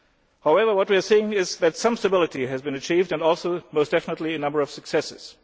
However, what we are seeing is that some stability has been achieved and also most definitely a number of successes.